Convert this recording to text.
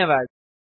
धन्यवाद